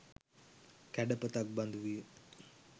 කැඩපතක් බඳු විය.